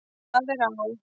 Það er á